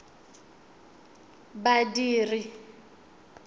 badiri